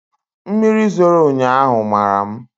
Mmiri zoro ụnyaahụ mara m